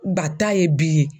Ŋa ta ye bi.